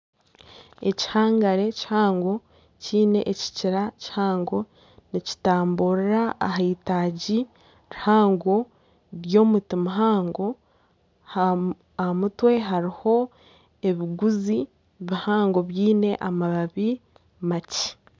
Ekihangare kihango kiine ekikira kihango nikitamburira aheitagi rihango ry'omuti muhango aha mutwe hariho ebiguzi bihango byine amababi makye.